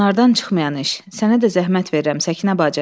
Onlardan çıxmayan iş, sənə də zəhmət verirəm, Səkinə bacı.